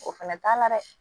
O fɛnɛ t'a la dɛ